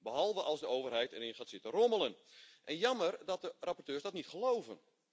Behalve als de overheid erin gaat zitten rommelen jammer dat de rapporteurs dat niet geloven.